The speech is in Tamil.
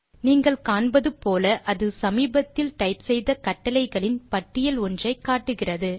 நீங்கள் காண்பது போல் அது சமீபத்தில் டைப் செய்த கட்டளைகளின் பட்டியல் ஒன்றை காட்டுகிறது